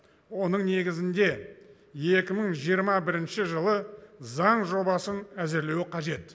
оның негізінде екі мың жиырма бірінші жылы заң жобасын әзірлеуі қажет